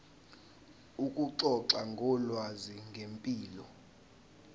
ukuxoxa ngolwazi ngempilo